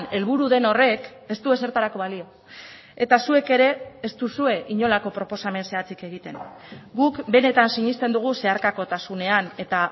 helburu den horrek ez du ezertarako balio eta zuek ere ez duzue inolako proposamen zehatzik egiten guk benetan sinesten dugu zeharkakotasunean eta